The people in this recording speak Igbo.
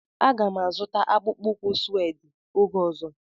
Aga m azụta akpụkpọ ụkwụ sued oge ọzọ.